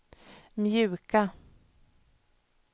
mjuka